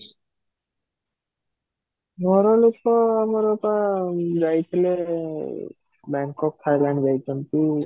ଘର ଲୋକ ଆମର ତ ଯାଇଥିଲେ Bangkok Thailand ଯାଇଛନ୍ତି